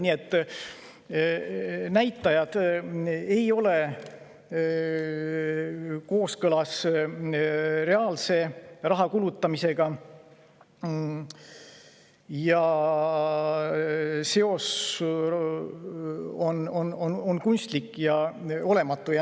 Nii et näitajad ei ole kooskõlas reaalse raha kulutamisega, seos on kunstlik ja olematu.